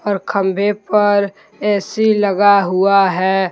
और खंभे पर ए_सी लगा हुआ है।